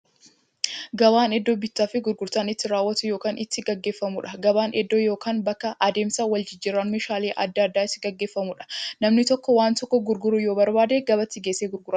Gabaan iddoo bittaaf gurgurtaan itti raawwatu yookiin itti gaggeeffamuudha. Gabaan iddoo yookiin bakka adeemsa waljijjiiraan meeshaalee adda addaa itti gaggeeffamuudha. Namni tokko waan tokko gurguruu yoo barbaade, gabaatti geessee gurgurata.